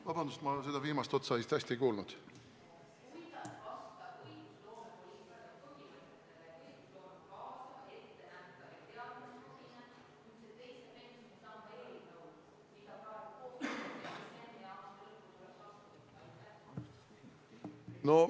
Vabandust, ma seda viimast otsa vist hästi ei kuulnud!